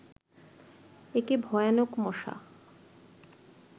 একে ভয়ানক মশা